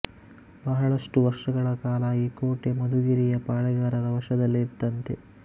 ಬಹಳಷ್ಟು ವರ್ಷಗಳ ಕಾಲ ಈ ಕೋಟೆ ಮಧುಗಿರಿಯ ಪಾಳೇಗಾರರ ವಶದಲ್ಲೇ ಇತ್ತಂತೆ